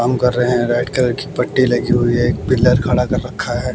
काम कर रहे हैं रेड कॉलर की पट्टी लगी हुई है एक पिलर खड़ा कर रखा है।